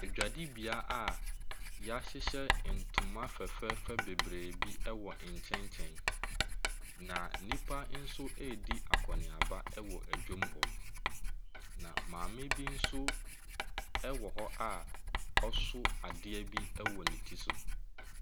Adwadibea yɛahyehyɛ toma fɛfɛɛfɛ bebree bi wɔ nkyɛnkyɛn. Na nnipa nso redi akɔneaba wɔ dwam hɔ. Na maame bi nso ɛwɔ hɔ ɔso adeɛ bi wɔ ne ti so.